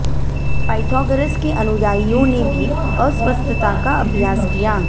Pythagoras के अनुयायियों ने भी अस्वस्थता का अभ्यास किया